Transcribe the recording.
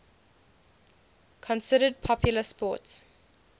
considered popular sports